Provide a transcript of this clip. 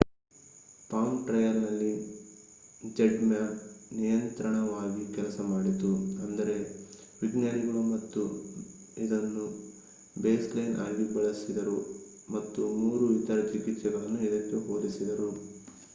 palm ಟ್ರಯಲ್‌ನಲ್ಲಿ ZMapp ನಿಯಂತ್ರಣವಾಗಿ ಕೆಲಸ ಮಾಡಿತು ಅಂದರೆ ವಿಜ್ಞಾನಿಗಳು ಇದನ್ನು ಬೇಸ್‌ಲೈನ್‌ ಆಗಿ ಬಳಸಿದರು ಮತ್ತು ಮೂರು ಇತರ ಚಿಕಿತ್ಸೆಗಳನ್ನು ಇದಕ್ಕೆ ಹೋಲಿಸಿದರು